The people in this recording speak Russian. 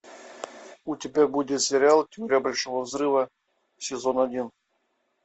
у тебя будет сериал теория большого взрыва сезон один